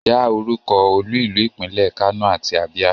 Dá orúkọ olú ìlú ìpínlẹ̀ Kano àti Abia.